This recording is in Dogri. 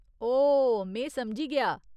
ओह्, में समझी गेआ।